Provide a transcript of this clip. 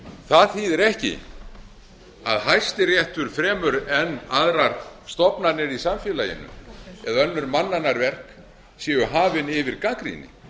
það þýðir ekki að hæstiréttur fremur en aðrar stofnanir í samfélaginu eða önnur mannanna verk séu hafin yfir gagnrýni